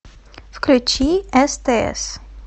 включи стс